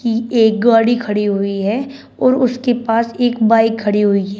एक गाड़ी खड़ी हुई है और उसके पास एक बाइक खड़ी हुई है।